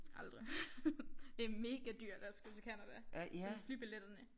Aldrig det mega dyrt at skulle til Canada sådan flybilletterne